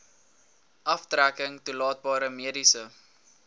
aftrekking toelaatbare mediese